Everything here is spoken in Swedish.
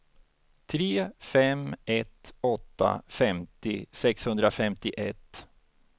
tre fem ett åtta femtio sexhundrafemtioett